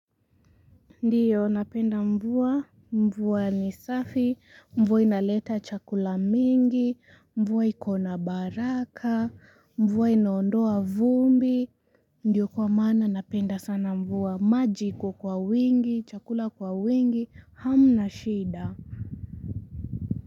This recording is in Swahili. Ndio napenda mvua, mvua ni safi, mvua inaleta chakula mingi, mvua ikona baraka, mvua inaondoa vumbi. Ndiyo kwa maana napenda sana mvua, maji iko kwa wingi, chakula kwa wingi, hamna shida.